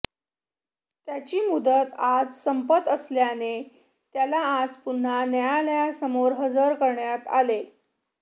त्याची मुदत आज संपत असल्याने त्याला आज पुन्हा न्यायालयासमोर हजर करण्यात आले